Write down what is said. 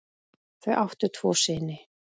Þau áttu tvo syni.